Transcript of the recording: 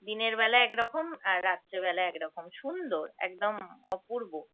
দিনের বেলা একরকম আর রাত্রে বেলা একরকম সুন্দর একদম অপূর্ব।